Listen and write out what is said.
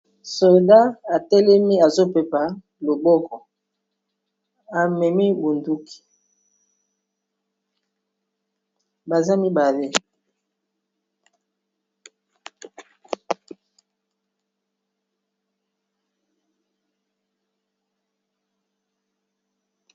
Soda atelemi azopepa loboko amemi bonduki baza mibale.